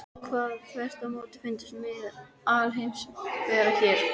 Þeim hafi þvert á móti fundist miðja alheimsins vera hér.